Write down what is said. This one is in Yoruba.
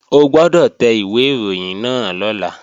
O gbọ́dọ̀ tẹ ìwé ìròyìn náà lọ́la!